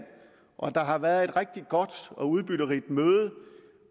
og at der har været et rigtig godt og udbytterigt møde